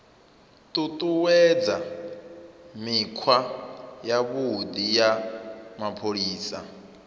ṱuṱuwedza mikhwa yavhuḓi ya mapholisa